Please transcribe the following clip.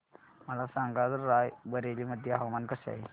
मला सांगा आज राय बरेली मध्ये हवामान कसे आहे